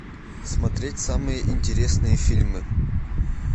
смотреть самые интересные фильмы